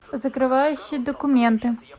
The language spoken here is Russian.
закрывающие документы